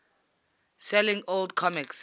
selling old comics